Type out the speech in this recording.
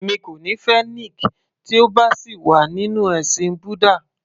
Èmi kò ní fẹ́ Nick tí ó bá sì wà nínú ẹ̀sìn búdà